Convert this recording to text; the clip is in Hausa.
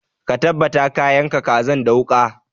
Ka tabbata ka yanka kazan da wuƙa!